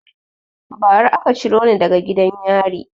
Ba ra aka ciro ni daga gidan yari